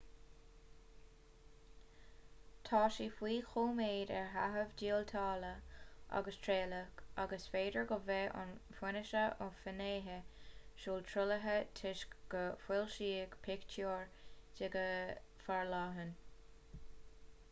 tá sí faoi choimeád ar feitheamh díotála agus trialach ach is féidir go mbeidh aon fhianaise ó fhinnéithe súl truaillithe toisc gur foilsíodh pictiúir di go forleathan